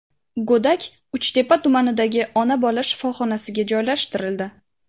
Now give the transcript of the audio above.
Go‘dak Uchtepa tumanidagi ona-bola shifoxonasiga joylashtirildi.